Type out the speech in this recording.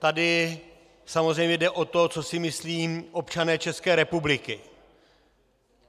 Tady samozřejmě jde o to, co si myslí občané České republiky.